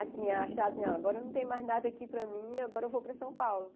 Assim, achar assim, não, agora não tem mais nada aqui para mim, agora eu vou para São Paulo.